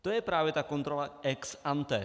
To je právě ta kontrola ex ante.